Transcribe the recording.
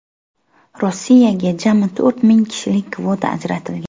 Rossiyaga jami to‘rt ming kishilik kvota ajratilgan.